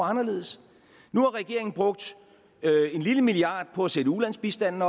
anderledes nu har regeringen brugt en lille milliard kroner på at sætte ulandsbistanden